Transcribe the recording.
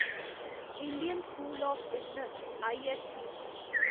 Indian School of Business ISB